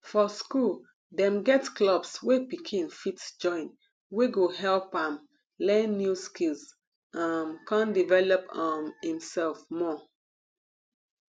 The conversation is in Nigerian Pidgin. for school dem get clubs wey pikin fit join wey go help am learn new skills um come develop um imself more